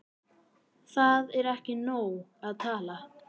Það er ekki nóg að tala